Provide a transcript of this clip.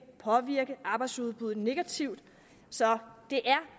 påvirke arbejdsudbuddet negativt så det er